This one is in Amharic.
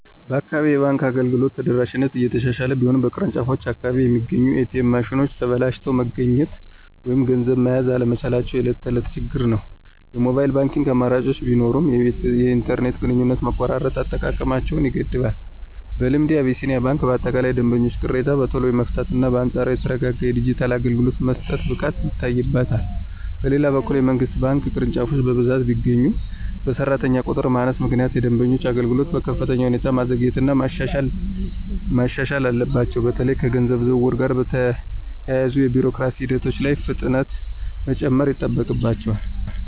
በአካባቢዬ የባንክ አገልግሎት ተደራሽነት እየተሻሻለ ቢሆንም፣ በየቅርንጫፎቹ አቅራቢያ የሚገኙት ኤ.ቲ.ኤም ማሽኖች ተበላሽተው መገኘት ወይም ገንዘብ መያዝ አለመቻላቸው የዕለት ተዕለት ችግር ነው። የሞባይል ባንኪንግ አማራጮች ቢኖሩም፣ የኢንተርኔት ግንኙነት መቆራረጥ አጠቃቀማቸውን ይገድባል። በልምዴ፣ አቢሲኒያ ባንክ በአጠቃላይ የደንበኞችን ቅሬታ በቶሎ የመፍታትና በአንጻራዊነት የተረጋጋ የዲጂታል አገልግሎት የመስጠት ብቃት ይታይበታል። በሌላ በኩል፣ የመንግሥት ባንክ ቅርንጫፎች በብዛት ቢገኙም፣ በሠራተኛ ቁጥር ማነስ ምክንያት የደንበኞችን አገልግሎት በከፍተኛ ሁኔታ ማዘግየትና ማሻሻል አለባቸው። በተለይም ከገንዘብ ዝውውር ጋር በተያያዙ የቢሮክራሲ ሂደቶች ላይ ፍጥነት መጨመር ይጠበቅባቸዋል።